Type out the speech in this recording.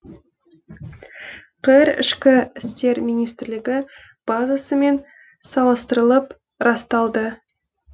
қр ішкі істер министрлігі базасымен салыстырылып расталды